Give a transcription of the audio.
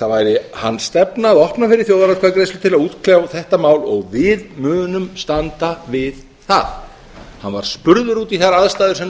það væri hans stefna að opna fyrir þjóðaratkvæðagreiðslu til að útkljá þetta mál og við munum standa við það hann var spurður út í þær aðstæður sem